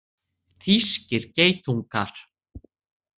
Þýskir geitungar.